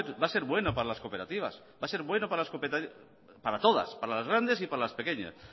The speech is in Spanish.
ver va a ser bueno para las cooperativas va a ser bueno para todas para las grandes y para las pequeñas